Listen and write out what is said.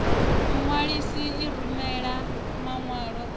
muṅwalisi i rumela maṅwalo a